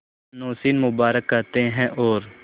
नौशीन मुबारक कहते हैं और